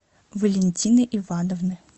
валентины ивановны